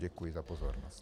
Děkuji za pozornost.